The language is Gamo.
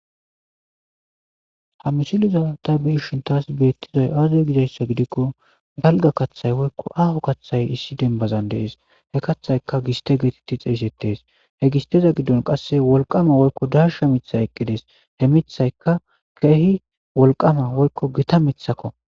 ha mishiliza ta bi ishin taas beettizay aazey gizayssa gidikko galga kaththay woykko aho kaththay issi dembazan dees he kathayka giste geetitti xeeyssettees he gisteza giddon qasse wolqama woykko darsha mitha eqqidees he mithayka keehi wolqama woykko gita mithakko